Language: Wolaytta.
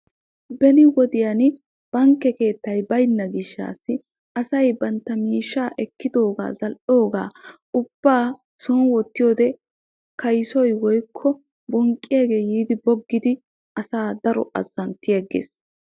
Beni wodiyan bankke keettay baynnagan asay ba miishsha son wottidooga bonqqiya asay yiiddi bonqqiddi asaa azanttigees.